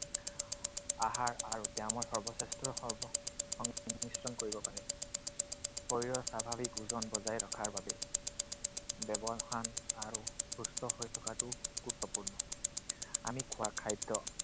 আহাৰ আৰু ব্যয়ামৰ সৰ্বশ্ৰেষ্ঠ সৰ্বসংমিশ্ৰণ কৰিব পাৰে। শৰীৰৰ স্বাভাৱিক ওজন বজাই ৰখাৰ বাবে আৰু সুস্থ হৈ থকাটো গুৰুত্বপূৰ্ণ। আমি খোৱা খাদ্য